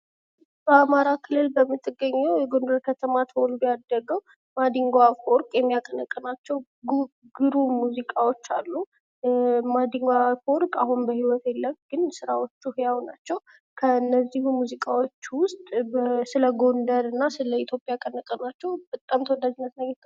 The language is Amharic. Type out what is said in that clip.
በአማራ ክልል በምትገኘው በጎንደር ከተማ ተወልዶ ያደገው ማድንጎ አፈወርቅ የሚያቀነቅናቸው ግሩም ሙዚቃዎች አሉ ማድንጎ አፈወርቅ አሁን በህይወት የለም ግን ስራዎቹ ህያው ናቸው። ከነዚህም ሙዚቃዎች ውስጥ ስለ ጎንደርና ስለ ኢትዮጵያ ከለቀቋቸው በጣም ተወዳጅነት አግኝተዋል